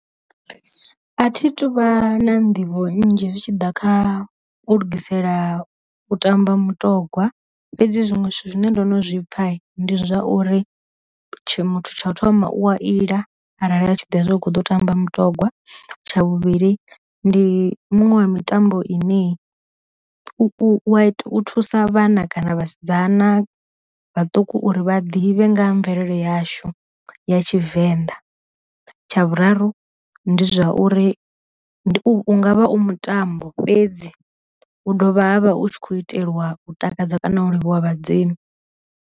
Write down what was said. A thi tuvha na nḓivho nnzhi zwi tshi ḓa kha u lugisela u tamba mutogwa fhedzi zwinwe zwithu zwine ndo no zwipfa ndi zwa uri muthu tsha u thoma u a ila arali a tshi ḓivha zwa hu kho ḓo tamba mutogwa, tsha vhuvhili ndi muṅwe wa mitambo ine u thusa vhana kana vhasidzana vhaṱuku uri vha ḓivhe nga ha mvelele yashu ya tshivenḓa, tsha vhuraru ndi zwa uri u nga vha u mutambo fhedzi hu dovha havha hutshi kho itelwa u takadza kana u livhuwa vhadzimu.